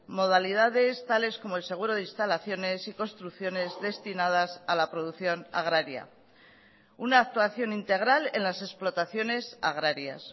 modalidades tales como el seguro de instalaciones y construcciones destinadas a la producción agraria una actuación integral en las explotaciones agrarias